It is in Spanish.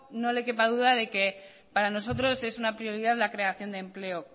no le quepa duda de que para nosotros es una prioridad la creación de empleo